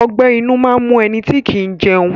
Ọgbẹ́ inú máa ń mu ẹnití ọ̀ kí ń jẹun